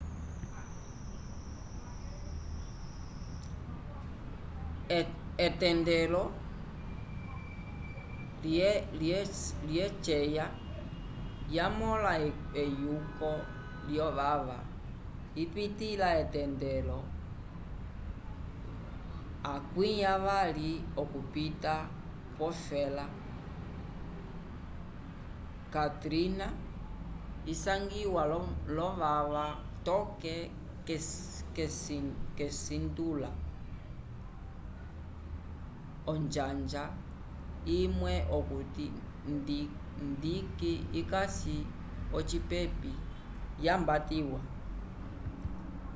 etendelo lyeceya yamõla eyuko lyovava ipitĩla etendelo 20 okupita kwofela katrina isangiwa l'ovava toke k'esintula onjanja imwe okuti dique ikasi ocipepi yambatiwa